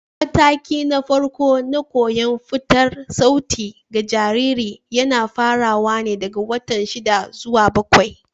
Matakina na farko na koyon furta sauti ga jarirai yana farawa ne daga wata shida zuwa bakwai.